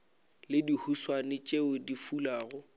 le dihuswane tšeo di fulago